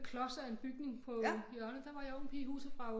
Klods af en bygning på hjørnet der var jeg ung pige i huset fra